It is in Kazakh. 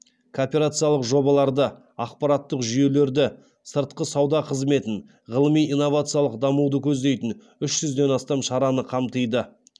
кооперациялық жобаларды ақпараттық жүйелерді сыртқы сауда қызметін ғылыми инновациялық дамуды көздейтін үшізден астам шараны қамтиды